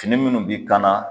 Fini munnu b'i kan na